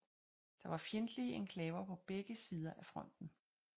Der var fjendtlige enklaver på begge sider af fronten